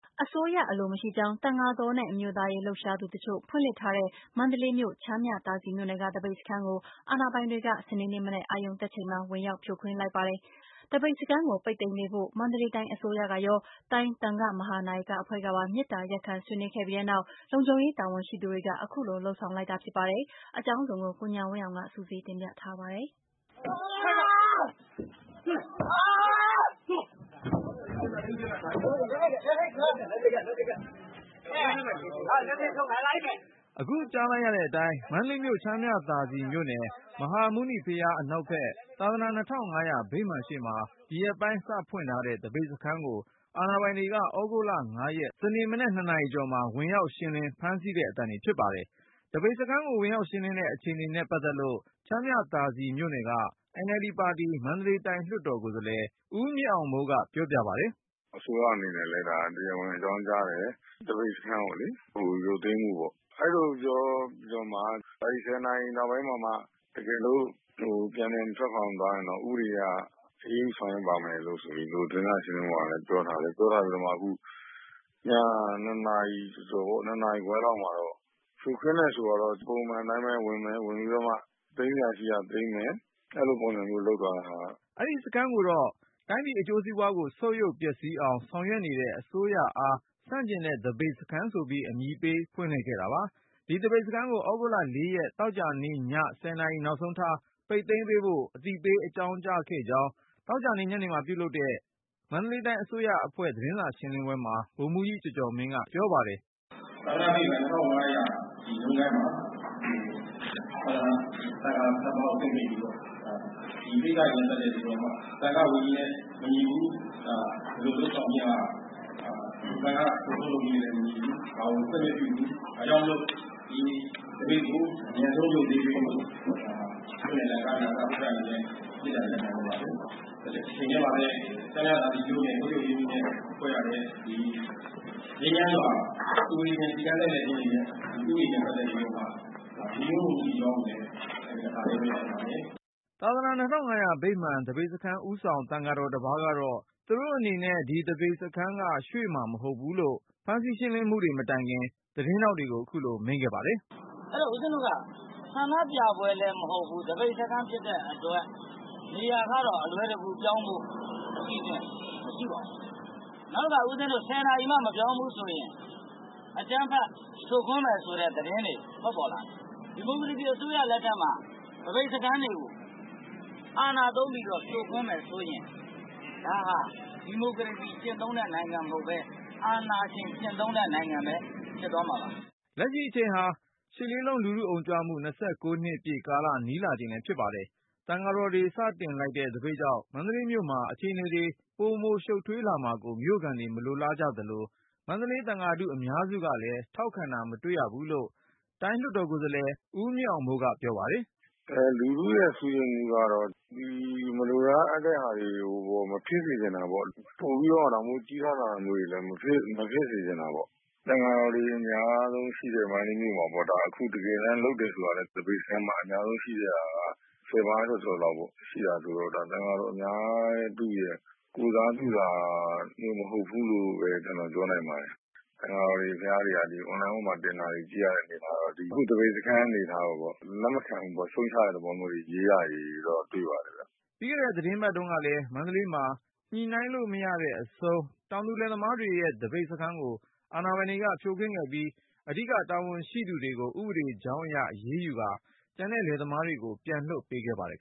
အစိုးရအလိုမရှိကြောင်း သံဃာတော်နဲ့ အမျိုးသားရေး လှုပ်ရှားသူတချို့ဖွင့်လှစ်ထားတဲ့ မန္တလေးမြို့ ချမ်းမြသာစည်မြို့နယ်က သပိတ်စခန်းကို အာဏာပိုင်တွေက စနေနေ့မနက် အရုဏ်တက်ချိန်မှာ ဝင်ရောက်ဖြိုခွင်း လိုက်ပါတယ်။ သပိတ်စခန်းကို ပိတ်သိမ်းပေးဖို့ မန္တလေးတိုင်း အစိုးရ ကရော တိုင်းသဃာ့ မဟာနာယကအဖွဲ့ကပါ မေတ္တာ ရပ်ခံဆွေးနွေးခဲ့ပြီးနောက် လုံခြုံရေး တာဝန်ရှိသူတွေက အခုလို လုပ်ဆောင်လိုက်တာ ဖြစ်ပါတယ်။ အကြောင်းစုံကို ကိုဉာဏ်ဝင်းအောင်က စုစည်းတင်ပြထားပါတယ်။ အခုကြားလိုက်ရတဲ့အတိုင်း မန္တလေးမြို့ ချမ်းမြသာစည်မြို့နယ် မဟာမုနိဘုရား အနောက်ဘက် သာသနာ၂၅၀၀ ဗိမာန်ရှေ့မှာ ဒီရက်ပိုင်း စဖွင့် ထားတဲ့ သပိတ်စခန်းကို အာဏာပိုင်တွေက သြဂုတ်လ ရက် စနေ့မနက် ၂ နာရီကျော်မှာ ဝင်ရောက်ရှင်းလင်း ဖမ်းဆီးတဲ့ အသံတွေ ဖြစ်ပါတယ်။ သပိတ်စခန်းကို ဝင်ရောက်ရှင်းလင်းတဲ့ အခြေအနေနဲ့ပတ်သက်လို့ ချမ်းမြသာစည်မြို့နယ်က NLD ပါတီ မန္တလေးတိုင်း လွှတ်တော်ကိုယ်စား လှယ် ဦးမြင့်အောင်မိုးက ပြောပြပါတယ်။ "အစိုးရအနေနဲ့လည်း ဒါ တရားဝင် အကြောင်းကြားတယ် သပိတ်စခန်းကို ရုပ်သိမ်းဖို့ပေါ့။ အဲ့လိုပြောပြီး ဆယ်နာရီနောက်ပိုင်းမှာမှ တကယ်လို့ ပြန်လည်မထွက်ခွာသွားရင် ဥပဒေအရ အရေးယူဆောင်ရွက်မယ်လို့ သတင်းစာရှင်းလင်းပွဲမှာလည်း ပြောထားတယ်။ ပြောထားတော့ ညက ၂နာရီကျော်ကျော် ၂နာရီခွဲလောက်မှာ ဖြိုခွင်းတယ်ဆိုတာတော့ ပုံမှန်တိုင်းပဲ ဝင်တယ် သိမ်းစရာရှိတာ သိမ်းမယ်။ အဲ့လိုပုံစံမျိုး လုပ်သွားတာ။" အဲဒီစခန်းကို တိုင်းပြည်အကျိုးစီးပွားကို ဆုတ်ယုတ်ပျက်စီးအောင် ဆောင်ရွက်နေတဲ့ အစိုးရအား ဆန့်ကျင်တဲ့ သပိတ်စခန်းဆိုပြီး အမည်ပေး ဖွင့်လှစ်ခဲ့တာပါ။ ဒီ သပိတ်စခန်းကို သြဂုတ်လ ရက် သောကြာည နာရီနောက်ဆုံးထား ပိတ်သိမ်းပေးဖို့ အသိပေး အကြောင်းကြားခဲ့ ကြောင်း သောကြာညနေမှာပြုလုပ်တဲ့ မန္တလေးတိုင်း အစိုးရအဖွဲ့ သတင်းစာရှင်းလင်းပွဲမှာ ဗိုလ်မှူးကြီးကျော်ကျော်မင်းက ရှင်းပြပါတယ်။ "သာသနာ၂၅၀၀ ဗိမာန် မှာ ပိတ်သိမ်းပေးဖို့ ဒီကိစ္စတွေနဲ့ပတ်သက်ပြီးတော့ သံဃာ့ဝိနည်းနဲ့မညီဘူး။ ဒီလိုလုပ်ဆောင်ခြင်းဟာ သံဃာ့လုပ်ထုံးလုပ်နည်းနဲ့မညီဘူး ဒါကြောင့်ခွင့်မပြုဘူး။ သပိတ်ကို အမြန်ဆုံးရုပ်သိမ်းပေးဖို့ မြို့နယ် သံဃာ့နာကယအဖွဲ့ ကတဆင့် မေတ္တာရပ်ခံပါတယ်။.....ငြိမ်းချမ်းစွာစုဝေးခြင်း စီတန်းလှည့်လည်ခြင်း ဥပဒေနဲ့ပတ်သက်ပြီးတော့မှ ညီညွတ်မှုမရှိကြောင်း တပါတည်းပြောချင်ပါတယ်။" သာသနာ၂၅၀၀ ဗိမာန် သပိတ်စခန်းဦးဆောင် သံဃာတော်တပါးကတော့ သူတို့အနေနဲ့ ဒီသပိတ်စခန်းက ရွှေ့မှာမဟုတ်ဘူးလို့ ဖမ်းဆီး ရှင်းလင်းမှုတွေ မတိုင်ခင် သတင်းထောက်တွေကို အခုလိုမိန့်ခဲ့ပါတယ်။ " အဲ့တော့ ဦးဇင်းတို့က ဆန္ဒပြပွဲလည်းမဟုတ်ဘူး သပိတ်စခန်းဖြစ်တဲ့အတွက် နေရာကတော့ ပြောင်းဖို့ အစီအစဉ် အလွယ်တကူမရှိပါဘူး။ နောက်တခါ ဆယ်နာရီမှ ဦးဇင်းတို့မပြောင်းဘူးဆိုရင် အကြမ်းဖက်ဖြိုခွင်းမယ်ဆိုတဲ့သတင်းတွေ ထွက်ပေါ်လာတယ် ဒီမိုကရေစီအစိုးရလက်ထက်မှာ သပိတ်စခန်းတွေကို အာဏာသုံးပြီးတော့ ဖြိုခွင်းမယ်ဆိုရင် ဒါဟာ ဒီမိုကရေစီကျင့်သုံးတဲ့နိုင်ငံမဟုတ်ပဲ အာဏာကိုကျင့်သုံးတဲ့နိုင်ငံဖြစ်သွားမှာပါ။" လက်ရှိအချိန်ဟာ ရှစ်လေးလုံး လူထုအုံကြွမှု နှစ်ပြည့်ကာလ နီးလာချိန်လဲဖြစ်ပါတယ်။ သံဃာတော်တွေ စတင်လိုက်တဲ့ သပိတ်ကြောင့် မန္တလေးမြို့မှာ အခြေအနေတွေ ပိုရှုပ်ထွေးလာမှာကို မြို့ခံတွေက မလိုလားကြသလို၊ မန္တလေးသံဃာထု အများစုကလဲ ထောက်ခံတာ မတွေ့ရ ဘူးလို့ တိုင်းလွှတ်တော်ကိုယ်စားလှယ် ဦးမြင့်အောင်မိုးက ပြောပြပါတယ်။ "လူထုကတော့ ဒီမလိုလားအပ်တဲ့ဟာတွေ မဖြစ်စေချင်တာပေါ့ ပိုပြီးတော့ ဒါမျိုးကြီးထွားလာတာမျိုးတွေ မဖြစ်စေချင်တာပေါ့ သံဃာတော်တွေ အများစုရှိတဲ့ မန္တလေးမြို့မှာပေါ့ ဒါအခု တကယ်တမ်း သပိတ်စခန်းမှာ အများဆုံးရှိတာက ဆယ်ပါးကျော်ကျော်လောက်ရှိတာဆိုတော့ ဒါ သံဃာထုရဲ့ ကိုယ်စားပြုတာမဟုတ်ဘူးလို့ ကျနော်ပြောနိုင်ပါတယ်။ သံဃာတော်တွေဟာ အွန်လိုင်းပေါ်မှာတင်တဲ့ သပိတ်စခန်း အနေအထားကိုကြည့်ရတာ လက်မခံဘူးရှုတ်ချတဲ့သဘောရေးတာတွေ တွေ့ပါတယ်။ " ပြီးခဲ့တဲ့ သီတင်းပတ်တုန်းကလည်း မန္တလေးမှာ ညှိနှိုင်းလို့မရတဲ့အဆုံး တောင်သူလယ်သမားတွေရဲ့ သပိတ်စခန်းကို အာဏာပိုင်တွေ ဖြိုခွင်း ခဲ့ပြီး၊ အဓိက တာဝန်ရှိသူတွေကို ဥပဒေကြောင်းအရ အရေးယူကာ ကျန်တဲ့ လယ်သမားတွေကို ပြန်လွှတ်ပေးခဲ့ပါတယ်